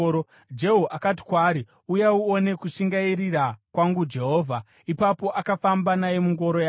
Jehu akati kwaari, “Uya uone kushingairira kwangu Jehovha.” Ipapo akafamba naye mungoro yake.